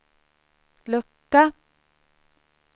lucka